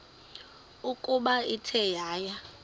ukuba ithe yaya